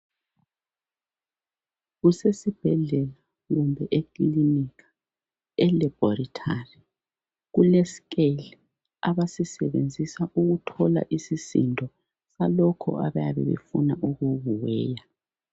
Kusesibhedlela kumbe ekilinika, elaboratory, kule scale abasisebenzisa ukuthola isisindo salokho abaye befuna ukukuweya